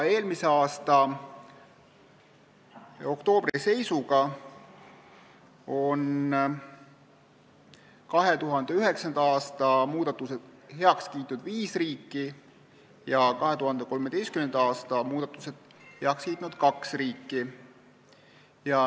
Eelmise aasta oktoobri seisuga on 2009. aasta muudatused heaks kiitnud viis riiki ja 2013. aasta muudatused on heaks kiitnud kaks riiki.